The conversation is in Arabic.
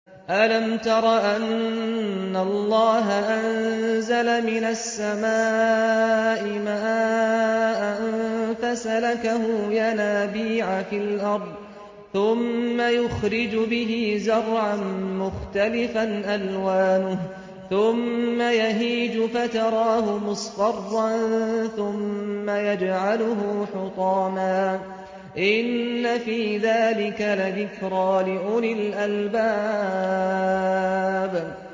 أَلَمْ تَرَ أَنَّ اللَّهَ أَنزَلَ مِنَ السَّمَاءِ مَاءً فَسَلَكَهُ يَنَابِيعَ فِي الْأَرْضِ ثُمَّ يُخْرِجُ بِهِ زَرْعًا مُّخْتَلِفًا أَلْوَانُهُ ثُمَّ يَهِيجُ فَتَرَاهُ مُصْفَرًّا ثُمَّ يَجْعَلُهُ حُطَامًا ۚ إِنَّ فِي ذَٰلِكَ لَذِكْرَىٰ لِأُولِي الْأَلْبَابِ